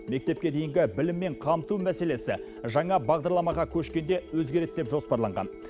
мектепке дейінгі біліммен қамту мәселесі жаңа бағдарламаға көшкенде өзгереді деп жоспарланған